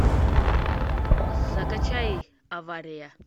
закачай авария